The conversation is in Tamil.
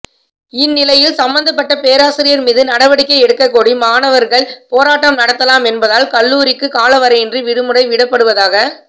இந்நிலையில் சம்பந்தப்பட்ட பேராசிரியர் மீது நடவடிக்கை எடுக்கக்கோரி மாணவர்கள் போராட்டம் நடத்தலாம் என்பதால் கல்லூரிக்கு காலவரையின்றி விடுமுறை விடப்படுவதாக